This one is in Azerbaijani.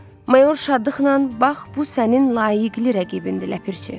Mayor şadlıqla bax bu sənin layiqli rəqibindir ləpirçi.